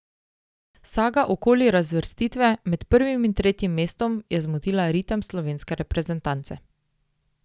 Saga okoli razvrstitve med prvim in tretjim mestom je zmotila ritem slovenske reprezentance.